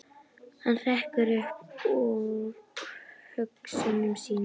Hann hrekkur upp úr hugsunum sínum.